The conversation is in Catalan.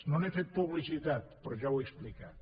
no n’he fet publicitat però ja ho he explicat